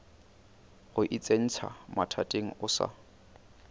go itsentšha mathateng o sa